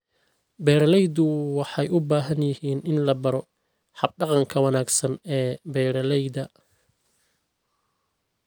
Beeraleydu waxay u baahan yihiin in la baro hab-dhaqanka wanaagsan ee beeralayda.